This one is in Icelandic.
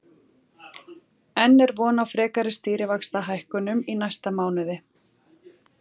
En er von á frekari stýrivaxtahækkunum í næsta mánuði?